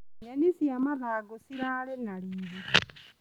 Nyeni cia mathangũ cirarĩ na riri.